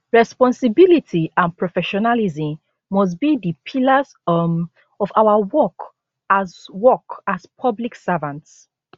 responsibility and professionalism must be di pillars um of our work as work as public servants